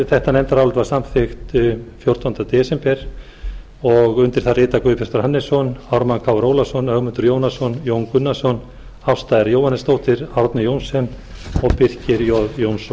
þetta nefndarálit var samþykkt fjórtánda desember og undir það rita guðbjartur hannesson ármann krónu ólafsson ögmundur jónasson jón gunnarsson ásta r jóhannesdóttir árni johnsen og birkir j jónsson